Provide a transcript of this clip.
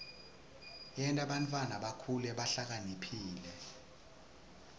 yenta bantfwana bakhule bahlakaniphile